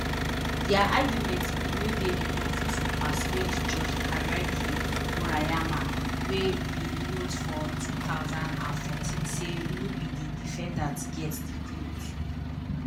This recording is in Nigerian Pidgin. dia argument bin no dey enough to persuade judge hiroaki murayama wey bin note for two thousand and fourteen say no be di defendant get di clothes